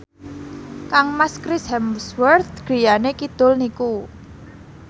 kangmas Chris Hemsworth griyane kidul niku